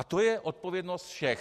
A to je odpovědnost všech.